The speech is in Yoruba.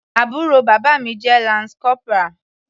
Àbúrò bàbá mi jẹ́ lance corporal.